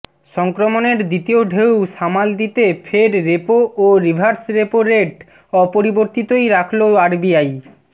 সংক্রমণের দ্বিতীয় ঢেউ সামাল দিতে ফের রেপো ও রিভার্স রেপো রেট অপরিবর্তিতই রাখল আরবিআই